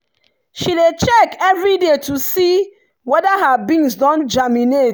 she dey check every day to see whether her beans don germinate.